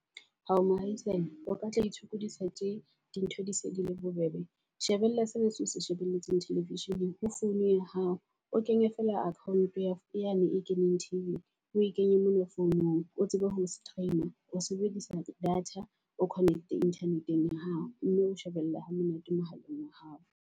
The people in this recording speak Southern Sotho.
Hao mohaisane o ka tla itshokodisa tje di ntho di se di le bobebe. Shebella se sena se o se shebeletse television-eng ho founu ya hao. O kenye feela account-o ya yane e keneng T_V-ing, o e kenye mona founong. O tsebe ho stream-a o sebedisa data, o connect-e jnternet-eng ya hao. Mme o shebella ha monate mohaleng wa hao.